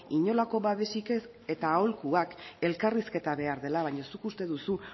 inolako babesik ez eta aholku bat elkarrizketa behar dela baina zuk uste duzu